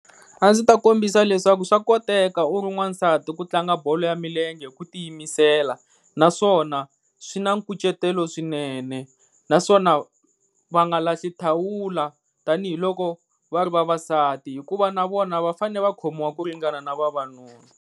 A ndzi ta kombisa leswaku swa koteka u ri wansati ku tlanga bolo ya milenge ku tiyimisela, naswona swi na nkucetelo swinene naswona va nga lahli thawula tanihiloko va ri vavasati hikuva na vona va fanele va khomiwa ku ringana na vavanuna.